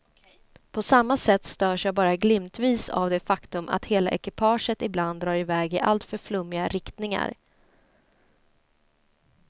På samma sätt störs jag bara glimtvis av det faktum att hela ekipaget ibland drar i väg i alltför flummiga riktningar.